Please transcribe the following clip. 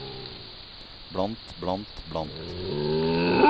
blant blant blant